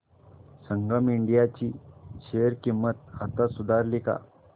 संगम India ची share किंमत आता सुधारली का